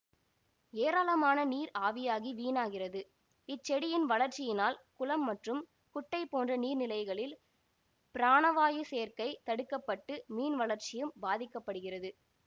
ஏராளமான நீர் ஆவியாகி வீணாகிறது இச்செடியின் வளர்ச்சியினால் குளம் மற்றும் குட்டை போன்ற நீர்நிலைகளில் பிராணவாயு சேர்க்கை தடுக்க பட்டு மீன்வளர்ச்சியும் பாதிக்க படுகிறது